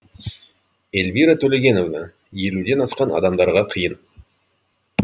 эльвира төлегеновна елуден асқан адамдарға қиын